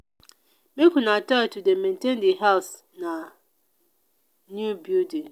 make una try to dey maintain the house na new building.